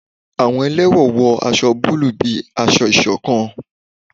Àwọn ẹlẹwọn wọ awọ bulu bíi ásọ̀-ìsokán